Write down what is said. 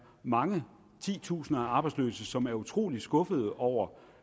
mange titusinder af arbejdsløse som er utrolig skuffet over